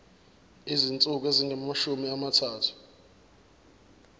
izinsuku ezingamashumi amathathu